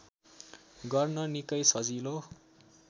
गर्न निकै सजिलो